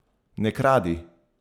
Ne kradi!